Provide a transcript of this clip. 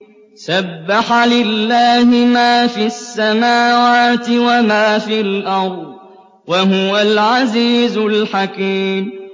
سَبَّحَ لِلَّهِ مَا فِي السَّمَاوَاتِ وَمَا فِي الْأَرْضِ ۖ وَهُوَ الْعَزِيزُ الْحَكِيمُ